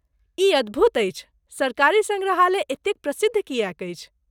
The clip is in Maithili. ई अद्भुत अछि। सरकारी सङ्ग्रहालय एतेक प्रसिद्ध किएक अछि?